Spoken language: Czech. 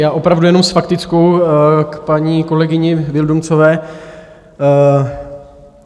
Já opravdu jenom s faktickou - k paní kolegyni Vildumetzové.